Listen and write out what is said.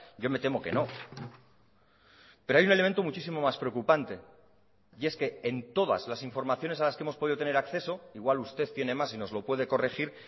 yo me temo que no pero hay un elemento muchísimo más preocupante y es que en todas las informaciones a las que hemos podido tener acceso igual usted tiene más y nos lo puede corregir